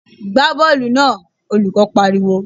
Gbá bọ́ọ̀lù náà! Olùkó I pariwo.